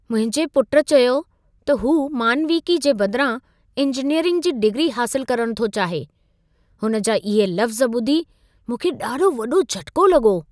मुंहिंजे पुटु चयो त हू मानविकी जे बदिरां इंजीनियरिंग जी डिग्री हासिलु करणु थो चाहे। हुन जा इहे लफ़्ज़ ॿुधी मूंखे ॾाढो वॾो झटिको लॻो।